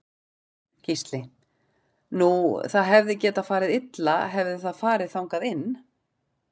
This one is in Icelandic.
Gísli: Nú það hefði getað farið illa hefði það farið þangað inn?